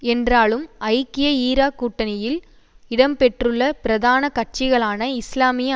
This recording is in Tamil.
என்றாலும் ஐக்கிய ஈராக் கூட்டணியில் இடம்பெற்றுள்ளபிரதான கட்சிகளான இஸ்லாமிய